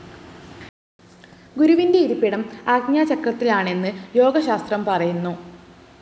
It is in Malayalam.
ഗുരുവിന്റെ ഇരിപ്പിടം ആജ്ഞാചക്രത്തിലാണെന്ന് യോഗശാസ്ത്രം പറയുന്നു